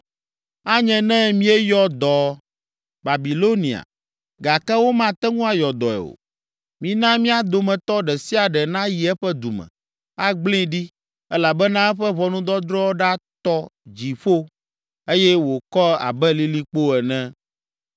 “ ‘Anye ne míeyɔ dɔ Babilonia, gake womate ŋu ayɔ dɔe o; mina mía dometɔ ɖe sia ɖe nayi eƒe du me, agblẽe ɖi, elabena eƒe ʋɔnudɔdrɔ̃ ɖatɔ dziƒo, eye wòkɔ abe lilikpo ene.’